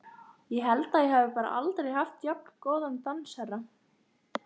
Ég held ég hafi bara aldrei haft jafn góðan dansherra!